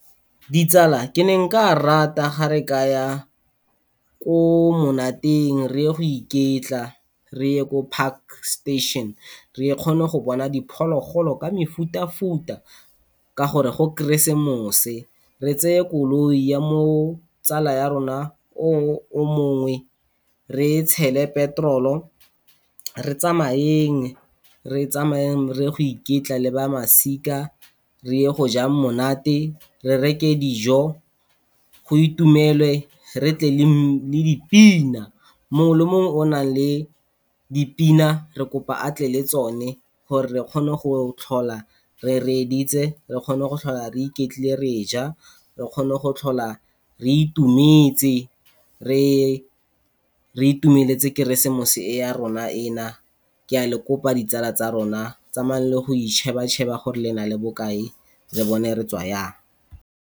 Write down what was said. Ditsala, ke ne nka rata gare ka ya kwa monateng reye go iketla, reye ko Parkstation re kgone go bona diphologolo ka mefuta-futa ka gore go kresemose. Re tseye koloi ya mo tsala ya rona o mongwe re e tshele petrol-o, re tsamayeng reye go iketla le ba masika reye go ja monate, re reke dijo go itumelwe re tle le dipina. Mongwe le mongwe o nang le dipina re kopa atle le tsone, gore re kgone go tlhola re reeditse, re kgone go tlhola re iketlile re ja, re kgone go tlhola re itumetse, re itumeletse keresmose e na ya rona e na, ke a le kopa ditsala tsa rona tsamayang le yeng go icheba-cheba gore le na le bokae re bone re tswa yang.